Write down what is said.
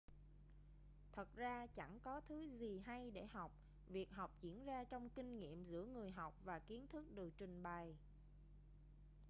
thật ra chẳng có thứ gì hay để học việc học diễn ra trong kinh nghiệm giữa người học và kiến thức được trình bày